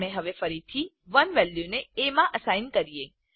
આપણે હવે ફરીથી 1 વેલ્યુ ને એ માં અસાઇન કરીએ